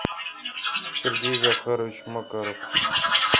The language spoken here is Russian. сергей захарович макаров